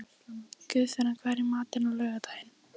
Guðfinna, hvað er í matinn á laugardaginn?